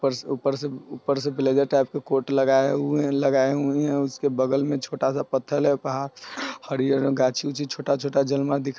ऊपर से-ऊपर से-ऊपर से ब्लेजर टाइप का कोट लगाए हुए है लगाए हुए हैं उसके बगल मे एक छोटा सा पत्थर है पहाड़ हरीयर गाछी उच्छी छोटा_छोटा--